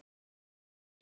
Sigrún og Hjalti.